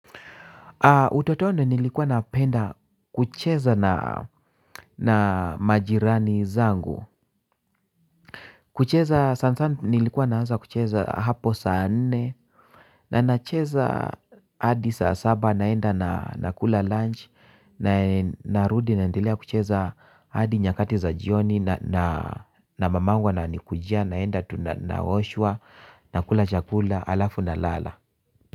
Utotoni nilikuwa napenda kucheza na majirani zangu. Kucheza sana sana nilikuwa naanza kucheza hapo saa nne na nacheza hadi saa saba naenda na nakula lunch na narudi naendelea kucheza hadi nyakati za jioni na mamangu ananikujia naenda tu naoshwa nakula chakula halafu na lala.